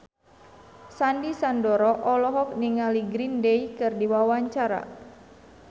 Sandy Sandoro olohok ningali Green Day keur diwawancara